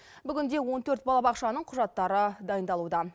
бүгінде он төрт балабақшаның құжаттары дайындалуда